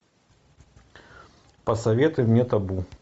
посоветуй мне табу